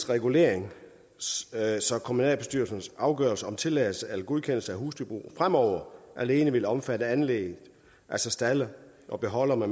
reguleringen så kommunalbestyrelsens afgørelser om tilladelse til eller godkendelse af husdyrbrug fremover alene vil omfatte anlæg altså stalde og beholdere